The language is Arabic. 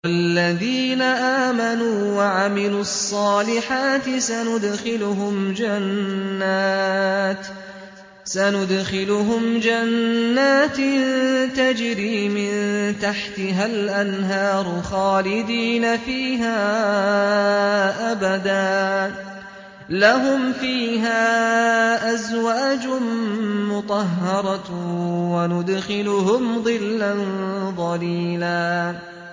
وَالَّذِينَ آمَنُوا وَعَمِلُوا الصَّالِحَاتِ سَنُدْخِلُهُمْ جَنَّاتٍ تَجْرِي مِن تَحْتِهَا الْأَنْهَارُ خَالِدِينَ فِيهَا أَبَدًا ۖ لَّهُمْ فِيهَا أَزْوَاجٌ مُّطَهَّرَةٌ ۖ وَنُدْخِلُهُمْ ظِلًّا ظَلِيلًا